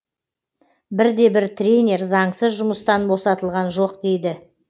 бірде бір тренер заңсыз жұмыстан босатылған жоқ дейді